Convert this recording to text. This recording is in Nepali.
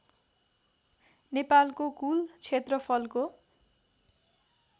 नेपालको कूल क्षेत्रफलको